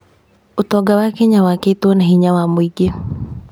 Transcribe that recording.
ũtonga wa Kenya wakĩĩtwo na hinya wa mũingĩ.